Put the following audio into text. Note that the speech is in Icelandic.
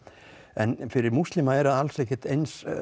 en fyrir múslima er það alls ekkert eins